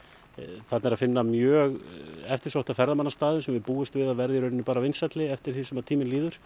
þarna er að finna mjög eftirsótta ferðamannastaði sem að við búumst við að verði bara vinsælli eftir því sem tíminn líður